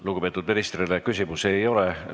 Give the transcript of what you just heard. Lugupeetud ministrile küsimusi ei ole.